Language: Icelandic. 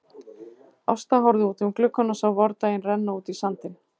Ásta horfði út um gluggann og sá vordaginn renna út í sandinn.